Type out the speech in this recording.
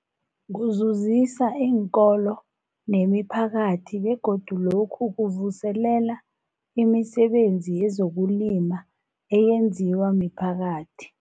Kuzuzisa iinkolo nemiphakathi begodu lokhu kuvuselela imisebenzi yezokulima eyenziwa miphakathi.